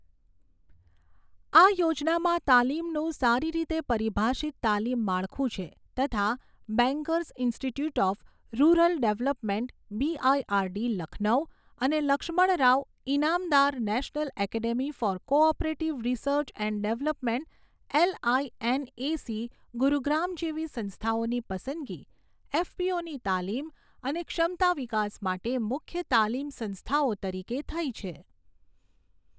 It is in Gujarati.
આ યોજનામાં તાલીમનું સારી રીતે પરિભાષિત તાલીમ માળખું છે તથા Bankers Institute of Rural Development BIRD, Lucknow અને Laxmanrao Inamdar National Academy for cooperative Research and Development LINAC, Gurugram જેવી સંસ્થાઓની પસંદગી એફપીઓની તાલીમ અને ક્ષમતા વિકાસ માટે મુખ્ય તાલીમ સંસ્થાઓ તરીકે થઈ છે.